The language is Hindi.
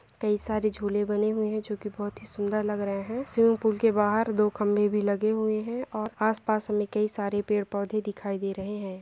कई सारे झूले बने हुए हैं जो की बहुत ही सुंदर लग रहे हैं स्विमिंग पूल के बाहर दो खंभे भी लगे हुए हैं और आस-पास हमे कई सारे पेड़-पौधे दिखाई दे रहे हैं।